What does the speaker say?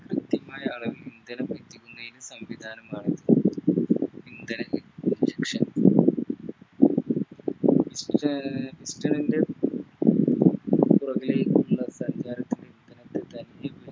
കൃത്യമായ അളവിൽ ഇന്ധനം എത്തിക്കുന്നയിന് സംവിധാനമാണ്